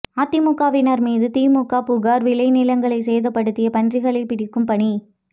அதிமுகவினர் மீது திமுக புகார் விளைநிலங்களை சேதப்படுத்திய பன்றிகளை பிடிக்கும் பணி